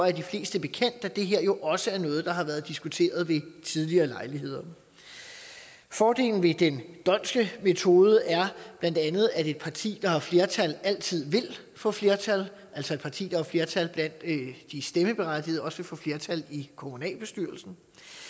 er de fleste bekendt at det her jo også er noget der har været diskuteret ved tidligere lejligheder fordelen ved den dhondtske metode er bla at et parti der har flertal altid vil få flertal altså et parti der har flertal blandt de stemmeberettigede vil også få flertal i kommunalbestyrelsen